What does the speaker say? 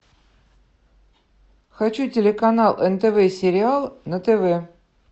хочу телеканал нтв сериал на тв